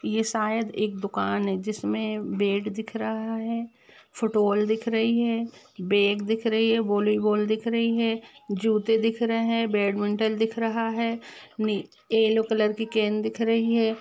ये शायद एक दूकान है जिसमे बेट दिख रहा है फुटबॉल दिख रही हैबैग दिख रही है वॉलीबॉल दिख रही है जूते दिख रहा है बैटमेंटेन दिख रहा है येलो कलर की केन दिख रही है।